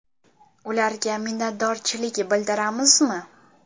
Ularga minnatdorchilik bildiramizmi?